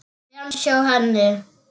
Framhjá henni.